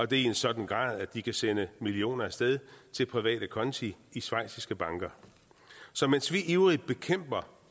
det i en sådan grad at de kan sende millioner af sted til private konti i schweiziske banker så mens vi ivrigt bekæmper